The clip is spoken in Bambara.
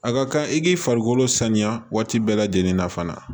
A ka kan i k'i farikolo sanuya waati bɛɛ lajɛlen na fana